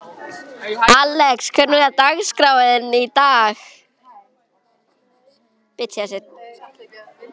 Alex, hvernig er dagskráin í dag?